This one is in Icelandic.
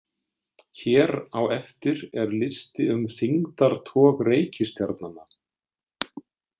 Hér á eftir er listi um þyngdartog reikistjarnanna.